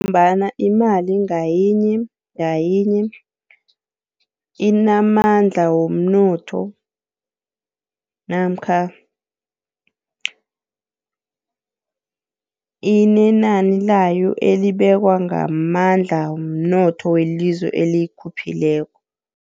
Ngombana imali ngayinye, ngayinye inamandla womnotho. Namkha inenani layo elibekwa ngamandla womnotho welizwe eliyikhuphileko.